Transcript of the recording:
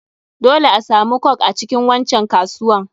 Dole asamu coke a cikin wancan kasuwan.